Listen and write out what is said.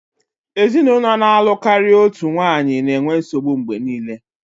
Ezinụlọ na-alụ karịa otu nwanyị na-enwe nsogbu mgbe niile